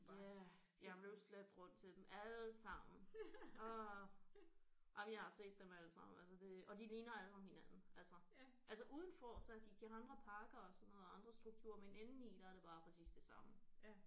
Ja jeg blev slæbt rundt til dem alle sammen åh jamen jeg har set dem alle sammen altså det og de ligner alle sammen hinanden altså altså udenfor så har de de har andre parker og sådan noget og andre struktur men indeni der er det bare præcis det samme